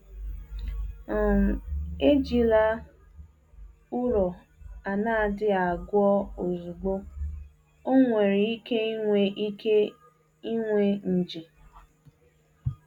um Ejila ụrọ a na-adịghị agwọ ozugbo, ọ nwere ike inwe ike inwe nje.